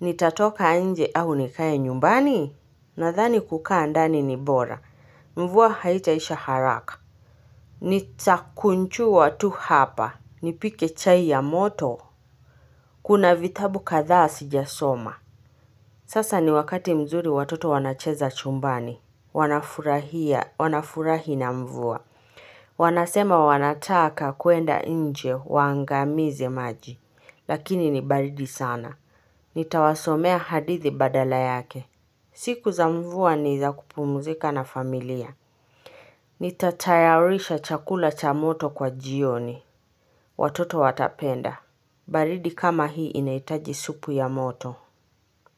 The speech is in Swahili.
Nitatoka nje au nikae nyumbani. Nadhani kukaa ndani ni bora. Mvua haitaisha haraka. Nitakunjua tu hapa. Nipike chai ya moto. Kuna vitabu kadhaa sijasoma. Sasa ni wakati mzuri watoto wanacheza chumbani. Wanafurahia. Wanafurahi na mvua. Wanasema wanataka kuenda nje waangamize maji, lakini ni baridi sana. Nitawasomea hadithi badala yake. Siku za mvua niza kupumuzika na familia. Nitatayarisha chakula cha moto kwa jioni. Watoto watapenda. Baridi kama hii inaitaji supu ya moto.